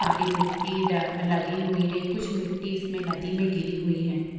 सारी मिट्टी ड-लगी हुई है कुछ मिट्टी इसमे नदी में गिरी हुई है ।